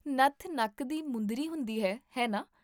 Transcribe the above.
ਨੱਥ ਨੱਕ ਦੀ ਮੁੰਦਰੀ ਹੁੰਦੀ ਹੈ, ਹੈ ਨਾ?